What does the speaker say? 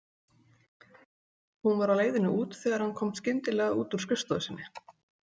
Hún var á leiðinni út þegar hann kom skyndilega út úr skrifstofu sinni.